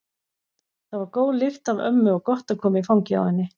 Það var góð lykt af ömmu og gott að koma í fangið á henni.